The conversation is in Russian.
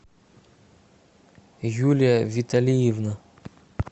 юлия виталиевна